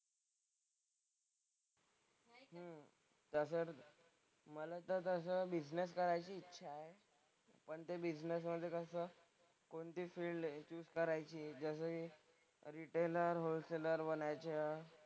मला तर तसं बिझनेस करायची इच्छा आहे. पण ते बिझनेसमधे कसं कोणती फील्ड चूज करायची जसं की रिटेलर, होलसेलर बनायचं.